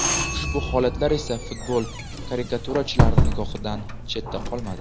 Ushbu holatlar esa futbol karikaturachilari nigohidan chetda qolmadi.